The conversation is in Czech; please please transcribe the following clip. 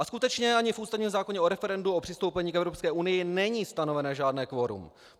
A skutečně ani v ústavním zákoně o referendu o přistoupení k Evropské unii není stanoveno žádné kvorum.